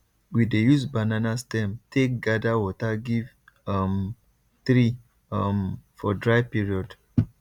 we dey use banana stem take gather water give um tree um for dry period